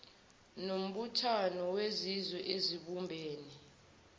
nombuthano wezizwe ezibumbene